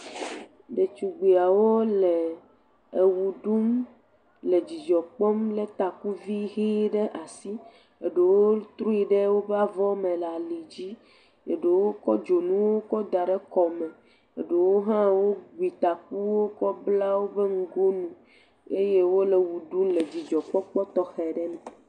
Ɖetugbuiawo le ewɔ ɖum le dzidzɔ kpɔm, lé takuvi ʋɛ̃ ɖe asi, eɖewo trui ɖe woƒe avɔ me le alidzi, eɖewo kɔ dzonuwo kɔ da ɖe kɔme, eɖewo hã wogbi takuwo kɔ bla woƒe ŋgonu eye wole wɔ ɖum le dzidzɔkpɔkpɔ tɔxɛ aɖe me.